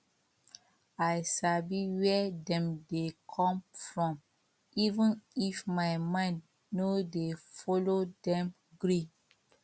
i sabi where dem dey come from even if my mind no dey follow dem gree